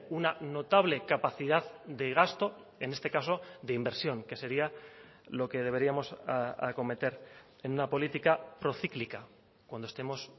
una notable capacidad de gasto en este caso de inversión que sería lo que deberíamos acometer en una política procíclica cuando estemos